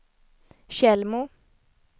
Tjällmo